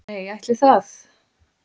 Nei, ætli það.